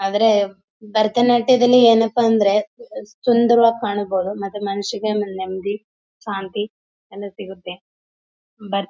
ಆದ್ರೆ ಭರತನಾಟ್ಯದಲ್ಲಿ ಏನಪ್ಪಾ ಅಂದ್ರೆ ಸುಂದರವಾಗಿ ಕಾಣ್ಬೋದು ಮತ್ತೆ ಮನಸ್ಸಿಗೆ ನೆಮ್ಮದಿ ಶಾಂತಿ ಎಲ್ಲ ಸಿಗತ್ತೆ ಭರ್--